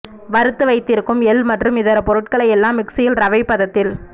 வறுத்து வைத்திருக்கும் எள் மற்றும் இதர பொருட்களை எல்லாம் மிக்சியில் ரவை பதத்தில்